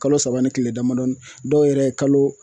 Kalo saba ni kile damadɔnin dɔw yɛrɛ ye kalo